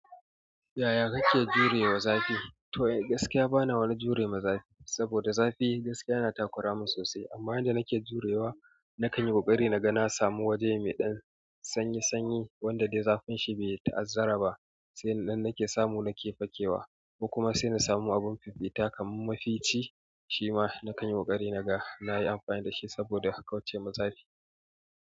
Yaya kake jurewa zafi? To gaskiya bana wani jure ma zafi, saboda zafi gaskiya yana takura min sosai. Amma inda nake jurewa, na kan yi ƙoƙari na ga na samu waje mai ɗan sanyi-sanyi wanda dai zafin shi bai ta'azzara ba. Sai in na samu, nake fakewa, ko kuma sai na samu abun fifita kamar mafici, shi ma na kan yi ƙoƙari na ga na yi amfani da shi saboda haka wacce ma zafi.